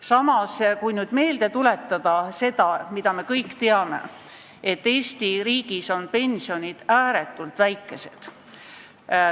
Samas, tuletame meelde seda, mida me kõik teame, et Eesti riigis on pensionid ääretult väikesed.